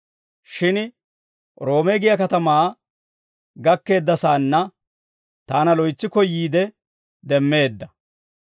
Shin Roome giyaa katamaa gakkeeddasaanna taana loytsi koyyiide demmeedda.